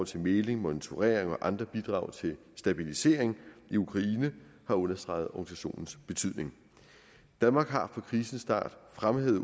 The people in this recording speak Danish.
til mægling monitorering og andre bidrag til stabilisering i ukraine har understreget organisationens betydning danmark har fra krisens start fremhævet